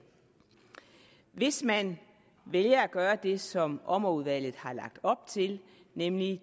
hvis man vælger at gøre det som ommerudvalget har lagt op til nemlig